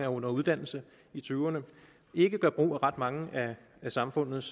under uddannelse i tyverne og ikke gør brug af ret mange af samfundets